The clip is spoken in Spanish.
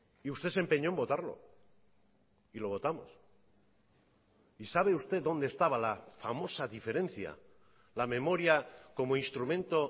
y usted se empeñó en votarlo y lo votamos y sabe usted dónde estaba la famosa diferencia la memoria como instrumento